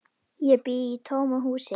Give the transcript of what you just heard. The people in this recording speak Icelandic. Ég bý í tómu húsi.